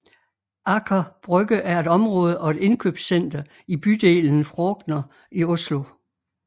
Aker Brygge er et område og et indkøbscenter i bydelen Frogner i Oslo